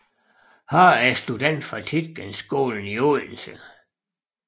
Har er student fra Tietgenskolen i Odense